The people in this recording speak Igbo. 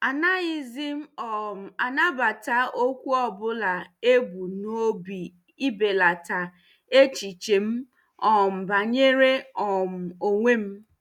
Anaghịzi m um anabata okwu ọ bụla e bu n'obi ibelata echiche m um banyere um onwe m.